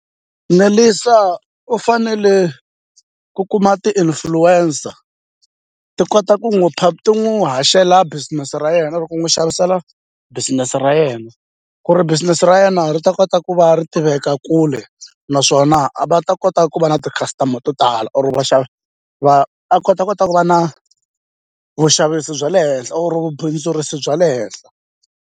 Nelisa u fanele ku kuma ti-influencer ti kota ku n'wu ti n'wu haxela business ra yena or ku n'wi xavisela business ra yena ku ri business ra yena ri ta kota ku va ri tiveka kule naswona a va ta kota ku va na ti-customer to tala or vaxavi va ta kota kota ku va na vuxavisi bya le henhla or vubindzurisi bya le henhla.